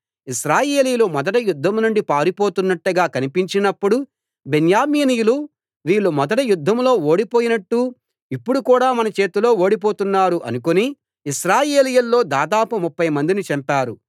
ఇశ్రాయేలీయులు మొదట యుద్ధం నుండి పారిపోతున్నట్టుగా కనిపించినప్పుడు బెన్యామీనీయులు వీళ్ళు మొదటి యుద్ధంలో ఓడిపోయినట్టు ఇప్పుడు కూడా మన చేతిలో ఓడిపోతున్నారు అనుకుని ఇశ్రాయేలీయుల్లో దాదాపు ముప్ఫైమందిని చంపారు